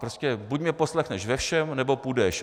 Prostě buď mě poslechneš ve všem, nebo půjdeš.